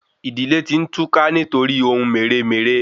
Idile ti n túká nítoríi ohun meré-meré